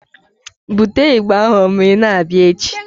Bute ịgbà ahụ ma ị na-abịa echi!